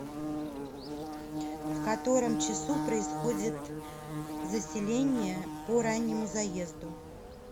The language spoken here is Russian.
в котором часу происходит заселение по раннему заезду